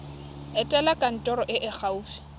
etela kantoro e e gaufi